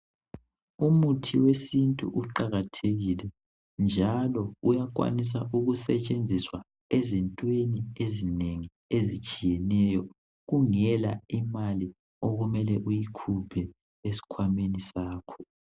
Umuthi wesintu uqakathekile njalo uyakwanisa ukusetshenziswa endaweni ezinengi ezitshiyeneyo kungela imali okumele uyikhuphe esikhwameni sakho.